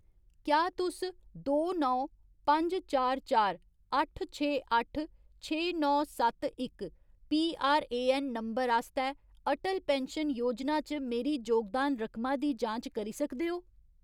क्या तुस दो नौ पंज चार चार अट्ठ छे अट्ठ छे नौ सत्त इक पीआरएऐन्न नंबर आस्तै अटल पैन्शन योजना च मेरी जोगदान रकमा दी जांच करी सकदे ओ ?